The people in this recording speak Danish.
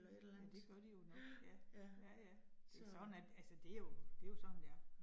Ja, det gør de jo nok. Ja. Ja ja, det sådan er det altså det jo det jo sådan det er